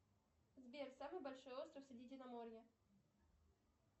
сбер самый большой остров средиземноморья